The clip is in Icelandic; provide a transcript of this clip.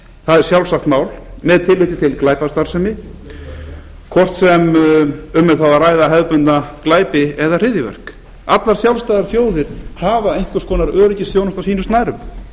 það er sjálfsagt mál með tilliti til glæpastarfsemi hvort sem um er þá að ræða hefðbundna glæpi eða hryðjuverk allar sjálfstæðar þjóðir hafa einhvers konar öryggisþjónustu á sínum snærum